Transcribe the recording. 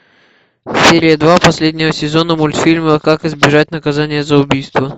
серия два последнего сезона мультфильма как избежать наказания за убийство